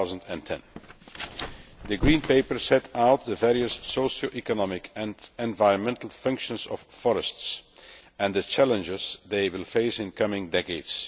2010. The Green Paper set out the various socio economic and environmental functions of forests and the challenges they will face in coming decades.